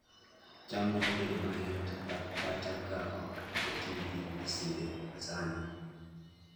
cham nyalo bedo mayot kata ka ok oti gi masinde masani